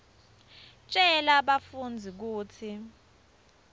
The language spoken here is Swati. tjela bafundzi kutsi